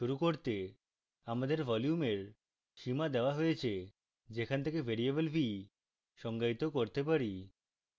শুরু করতে আমাদের volume এর সীমা দেওয়া হয়েছে যেখান থেকে ভ্যারিয়েবল v সংজ্ঞায়িত করতে পারি